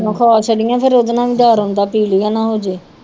ਖ਼ਾਸ ਨੀ ਹੈ ਫਿਰ ਉਹਦੇ ਨਾਲ ਵੀ ਡਰ ਹੁੰਦਾ ਪੀਲੀਆ ਨਾ ਹੋ ਜਾਏ